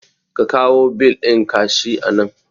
Ka kawo bil ɗin ka shi anan